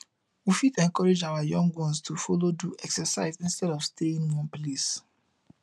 we fit encourage our young ones to follow do exercise instead of staying one place